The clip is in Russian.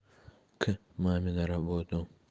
к маме на работу